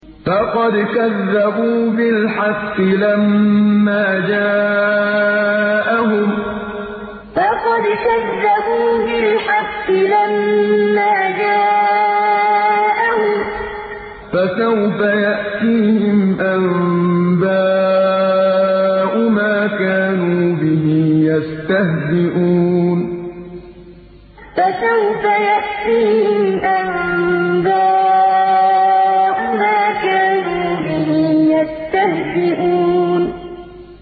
فَقَدْ كَذَّبُوا بِالْحَقِّ لَمَّا جَاءَهُمْ ۖ فَسَوْفَ يَأْتِيهِمْ أَنبَاءُ مَا كَانُوا بِهِ يَسْتَهْزِئُونَ فَقَدْ كَذَّبُوا بِالْحَقِّ لَمَّا جَاءَهُمْ ۖ فَسَوْفَ يَأْتِيهِمْ أَنبَاءُ مَا كَانُوا بِهِ يَسْتَهْزِئُونَ